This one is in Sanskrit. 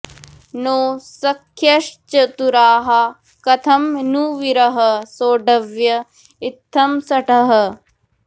नो सख्यश्चतुराः कथं नु विरहः सोढव्य इत्थं शठः